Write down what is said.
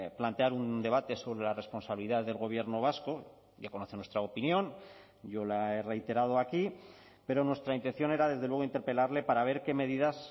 plantear un debate sobre la responsabilidad del gobierno vasco ya conoce nuestra opinión yo la he reiterado aquí pero nuestra intención era desde luego interpelarle para ver qué medidas